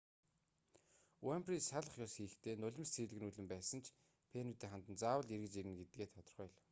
уйнфри салах ёс хийхдээ нулимс цийлэгнүүлэн байсан ч фенүүддээ хандан заавал эргэж ирнэ гэдгээ тодорхой хэлэв